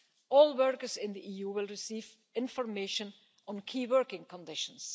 All workers in the EU will receive information on key working conditions.